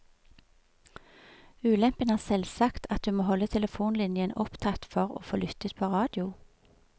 Ulempen er selvsagt at du må holde telefonlinjen opptatt for å få lyttet på radio.